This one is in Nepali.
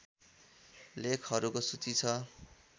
लेखहरूको सूची छ